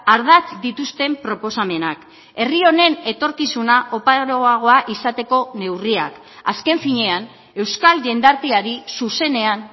ardatz dituzten proposamenak herri honen etorkizuna oparoagoa izateko neurriak azken finean euskal jendarteari zuzenean